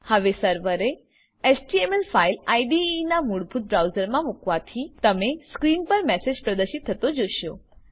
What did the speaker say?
હવે સર્વરે HTML file IDE ના મૂળભૂત બ્રાઉઝરમા મુકવાથી તમે સ્ક્રીન પર મેસેજ પ્રદર્શિત થતો જોશો